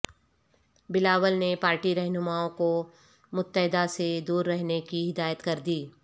بلاول نے پارٹی رہنماوں کو متحدہ سے دور رہنے کی ہدایت کر دی